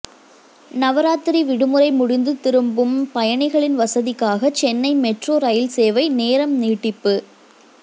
நவராத்திரி விடுமுறை முடிந்து திரும்பும் பயணிகளின் வசதிக்காக சென்னை மெட்ரோ ரயில்சேவை நேரம் நீட்டிப்பு